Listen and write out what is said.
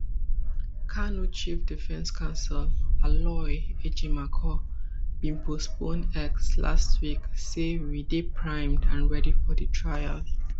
kanu chief defense counsel aloy ejimakor binposton x last week say we dey primed and ready for di trial